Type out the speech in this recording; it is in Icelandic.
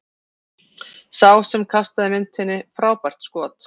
Hver sá sem kastaði myntinni, frábært skot!